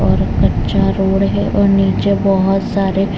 और कच्चा रोड है और नीचे बोहोत सारे --